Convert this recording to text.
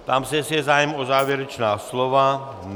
Ptám se, jestli je zájem o závěrečná slova.